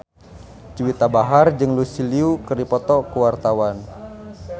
Juwita Bahar jeung Lucy Liu keur dipoto ku wartawan